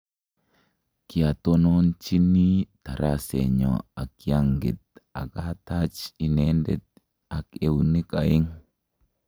Kiatononchini tarasenyo akianget akatachat inendet ak eunek aeng'